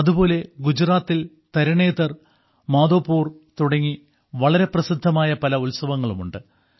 അതുപോലെ ഗുജറാത്തിൽ തരണേതർ മാധോപുർ തുടങ്ങി വളരെ പ്രസിദ്ധമായ പല ഉത്സവങ്ങളുമുണ്ട്